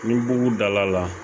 Ni bugu dala la